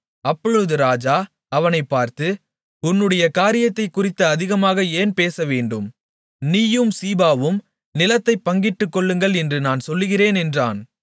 அப்பொழுது ராஜா அவனைப் பார்த்து உன்னுடைய காரியத்தைக் குறித்து அதிகமாக ஏன் பேசவேண்டும் நீயும் சீபாவும் நிலத்தைப் பங்கிட்டுக்கொள்ளுங்கள் என்று நான் சொல்லுகிறேன் என்றான்